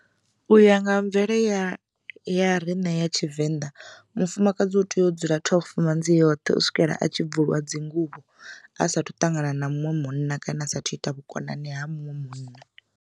U ya nga mvele ya ya riṋe ya tshivenḓa mufumakadzi u tea u dzula twelve manzi yoṱhe u swikela a tshi bvulwa dzinguvho a sathu ṱangana na muṅwe munna kana asathu ita vhukonani ha muṅwe munna.